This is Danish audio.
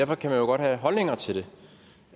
man kan jo godt have holdninger til det